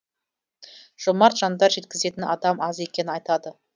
жомарт жандар жеткізетін адам аз екенін айтады